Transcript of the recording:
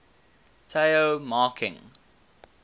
tao marking